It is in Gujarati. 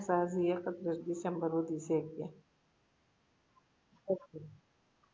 હજી એકત્રીસ ડિસેમ્બર સુધી છે કે